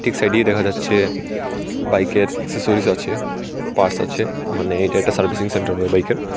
সাইডেই দেখা যাচ্ছে বাইকের একসসরিজ আছে পার্টস আছে মানে এইটা একটা সার্ভিসিং সেন্টার হয় বাইকের।